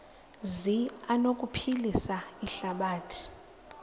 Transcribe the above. zi anokuphilisa ihlabathi